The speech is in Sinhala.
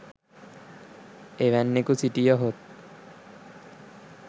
එවැන්නෙකු සිටියහොත්